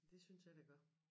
Det synes jeg det gør